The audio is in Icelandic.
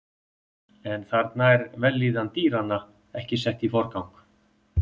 En þarna er vellíðan dýranna ekki sett í forgang.